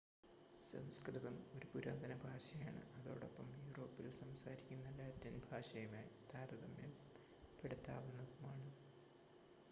സംസ്‌കൃതം ഒരു പുരാതന ഭാഷയാണ് അതോടൊപ്പം യൂറോപ്പിൽ സംസാരിക്കുന്ന ലാറ്റിൻ ഭാഷയുമായി താരതമ്യപ്പെടുത്താവുന്നതുമാണ്